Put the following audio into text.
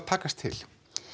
takast til